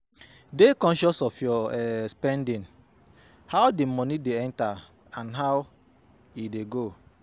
Dey conscious of your um spending, how di money de enter and how im de go